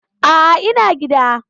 A'a, ina gida.